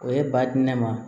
O ye ba di ne ma